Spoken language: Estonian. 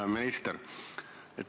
Hea minister!